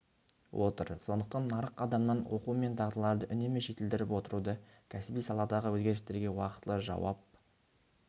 отыр сондықтан нарық адамнан оқу мен дағдыларды үнемі жетілдіріп отыруды кәсіби саладағы өзгерістерге уақытылы жауап